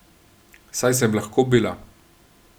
Saj sem lahko bila.